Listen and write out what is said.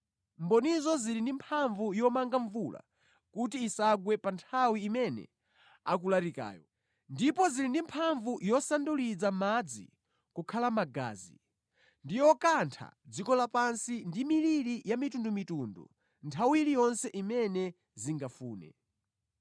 Mbonizo zili ndi mphamvu yomanga mvula kuti isagwe pa nthawi imene akulalikirayo; ndipo zili ndi mphamvu yosanduliza madzi kukhala magazi ndi yokantha dziko lapansi ndi miliri ya mitundumitundu nthawi iliyonse imene zingafune.